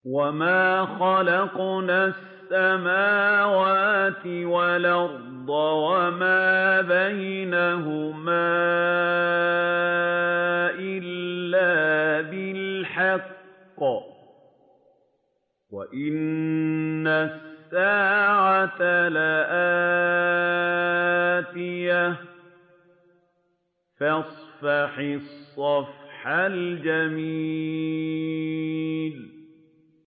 وَمَا خَلَقْنَا السَّمَاوَاتِ وَالْأَرْضَ وَمَا بَيْنَهُمَا إِلَّا بِالْحَقِّ ۗ وَإِنَّ السَّاعَةَ لَآتِيَةٌ ۖ فَاصْفَحِ الصَّفْحَ الْجَمِيلَ